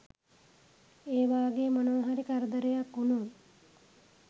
ඒ වාගේ මොනවාහරි කරදරයක් වුණොත්